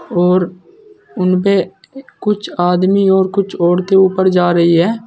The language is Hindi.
और उनपे कुछ आदमी और कुछ औरतें ऊपर जा रही है।